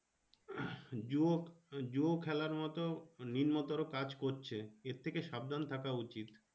জুয়ো জুয়ো খেলার মতো নম্নতর কাজ করছে এর থেকে সাবধান থাকা উচিত।